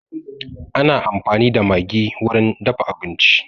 Ana amfani da maggi wurin dafa abinci